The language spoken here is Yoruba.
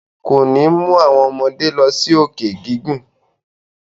Kò ní mú àwọn ọmọdé lọ sí òkè gígùn.